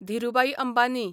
Dhirubhai Ambani